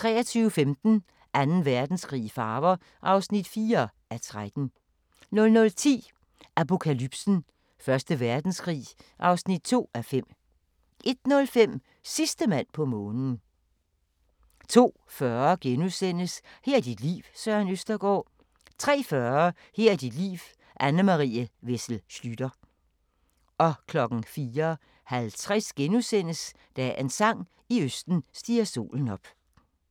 23:15: Anden Verdenskrig i farver (4:13) 00:10: Apokalypsen: Første Verdenskrig (2:5) 01:05: Sidste mand på månen 02:40: Her er dit liv – Søren Østergaard * 03:40: Her er dit liv – Anne Marie Wessel Schlüter 04:50: Dagens sang: I østen stiger solen op *